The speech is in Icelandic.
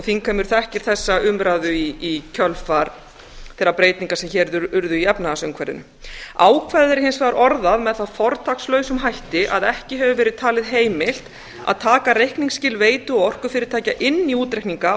þingheimur þekkir þessa umræðu í kjölfar þeirra breytinga sem hér urðu í efnahagsumhverfinu ákvæðið er hins vegar orðað með það fortakslausum hætti að ekki hefur verið talið heimilt að taka reikningsskil veitu og orkufyrirtækja inn í útreikninga